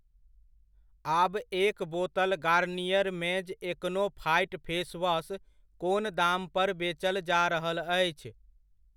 आब एक बोतल Garnier men's acno fight face wash कोन दाम पर बेचल जा रहल अछि?